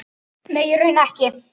Nei, í raun ekki.